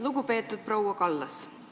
Lugupeetud proua Kallas!